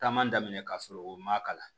Taama daminɛ ka sɔrɔ o ma kalan